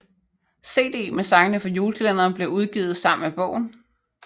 CD med sangene fra julekalenderen blev udgivet sammen med bogen